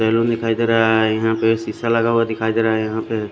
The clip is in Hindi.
येलो दिखाई दे रहा है सीसा लगा हुआ दिखाई दे रहा है यहा पे--